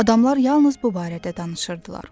Adamlar yalnız bu barədə danışırdılar.